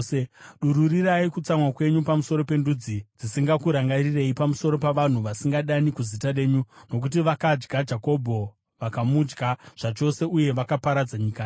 Dururirai kutsamwa kwenyu pamusoro pendudzi dzisingakurangarirei, pamusoro pavanhu vasingadani kuzita renyu. Nokuti vakadya Jakobho; vakamudya zvachose, uye vakaparadza nyika yake.